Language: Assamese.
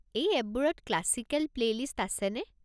এই এপবোৰত ক্লাচিকেল প্লে'লিষ্ট আছেনে?